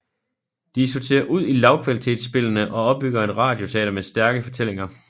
De sorterer ud i lavkvalitetsspillene og opbygger et radioteater med stærke fortællinger